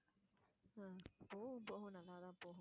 ஹம் போகும் போகும் நல்லா தான் போகும்.